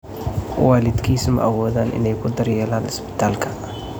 Waalidkiis ma awoodaan inay ku daryeelaan isbitaalka.